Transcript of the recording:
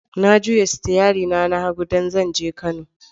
Na juya sitiyari na ta hagu don zan je Kano.